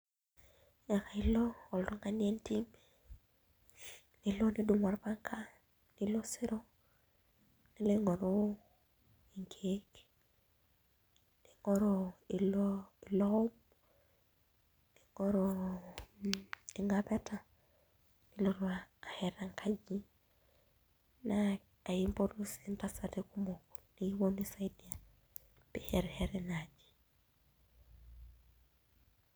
Ailo oltung'ani entim, nidumu orpanga nilo osero nilo aing'oru inkiek, nig'oru nig'oru iloom, ning'oru ing'apeta nilotu ashet enkaji. Naa aimpotu sii intasati kumok nekipwonu aisaidia pee ishetisheti inaaji